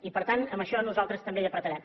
i per tant en això nosaltres també apretarem